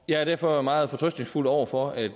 jeg er derfor meget fortrøstningsfuld over for at